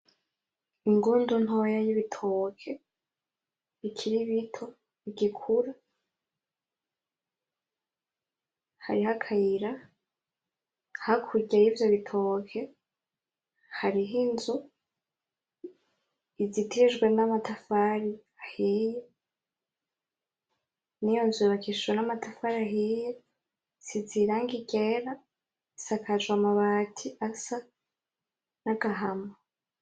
Ingundu ntoya y'ibitoke, bikiri bito, bigikura, hariho akayira, hakurya yivyo bitoke, hariho inzu, izitijwe n'amatafari ahiye, niyo nzu yubakishijwe n'amatafari ahiye, isize irangi ryera, isakajwe amabati asa n'agahama.